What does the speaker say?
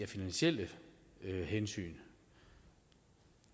finansielle hensyn